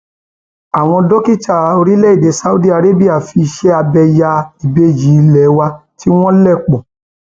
àwọn dókítà orílẹèdè saudiarabi fiṣẹ abẹ ya ìbejì ilé wa tí wọn lẹ pọ